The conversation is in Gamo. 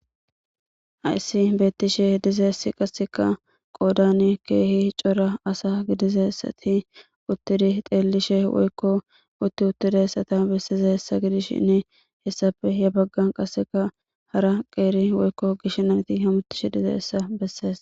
Hayssi beettishe dizeessi qasseka qoodani keehi cora asa gidizessati uttidi xeellishe woykko utti uttidi essata bessize hessa gidishhinne hessape ya baggan qasseka hara qeeri woykko gishnati hamutishe dizeessa bessees.